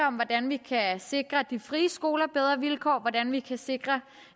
om hvordan vi kan sikre de frie skoler bedre vilkår og hvordan vi kan sikre